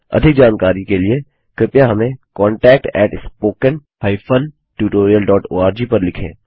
अधिक जानकारी के लिए कृपया हमें contactspoken हाइफेन tutorialओआरजी पर लिखें